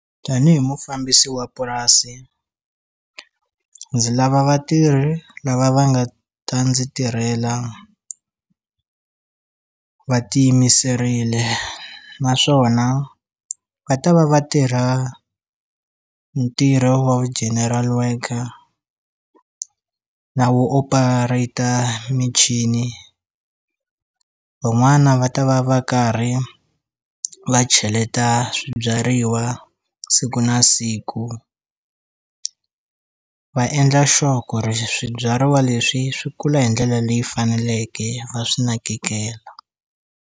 Tanihi mufambisi wa purasi ndzi lava vatirhi lava va nga ta ndzi tirhela va ti yimiserile naswona va ta va va tirha ntirho wa vu general worker na vu operator michini van'wana va ta va va karhi va cheleta swibyariwa siku na siku va endla sure ku ri swibyariwa leswi swi kula hi ndlela leyi faneleke va swi nakekela.